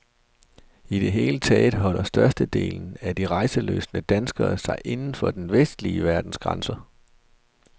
I det hele taget holder størstedelen af de rejselystne danskere sig inden for den vestlige verdens grænser.